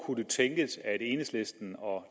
kunne tænkes at enhedslisten og